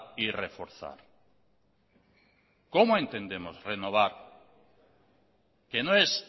y reforzar cómo entendemos renovar que no es